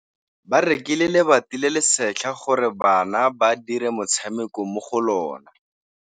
Ba rekile lebati le le setlha gore bana ba dire motshameko mo go lona.